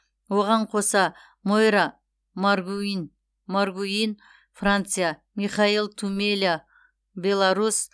оған қоса мойра маргуин маргуин франция михаил тумеля беларусь